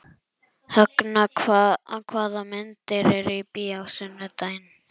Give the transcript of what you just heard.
Högna, hvaða myndir eru í bíó á sunnudaginn?